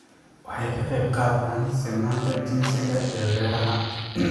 Waxay ka qayb qaataan sinnaanta jinsiga ee beeraha.